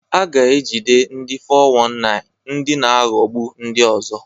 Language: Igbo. A ga-ejide ndi 419 (ndị na-aghọgbu ndị ọzọ).